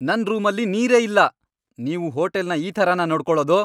ನನ್ ರೂಮಲ್ಲಿ ನೀರೇ ಇಲ್ಲ! ನೀವು ಹೋಟೆಲ್ನ ಈ ಥರನ ನೋಡ್ಕೋಳೋದು?